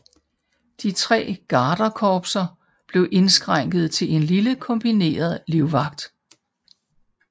De 3 garderkorpser blev indskrænkede til en lille kombineret livvagt